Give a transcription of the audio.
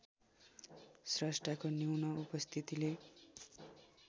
स्रष्टाको न्यून उपस्थितिले